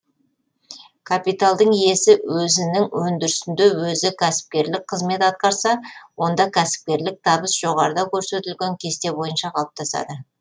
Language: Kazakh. капиталдың иесі өзінің өндірісінде өзі кәсіпкерлік қызмет атқарса онда кәсіпкерлік табыс жоғарыда көрсетілген кесте бойынша қалыптасады